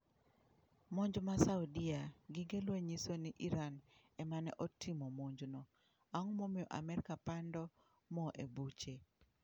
Monj ma saudia, gige lweny nyiso ni Iran ema ne otimo monjno, ang'o momiyo Amerka pando mo e buche?